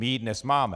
My ji dnes máme.